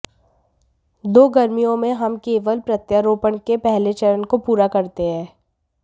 तो गर्मियों में हम केवल प्रत्यारोपण के पहले चरण को पूरा करते हैं